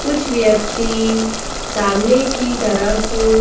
कुछ व्यक्ति सामने की तरफ--